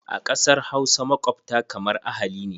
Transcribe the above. A ƙasar Hausa, makwabta kamar ahali ne.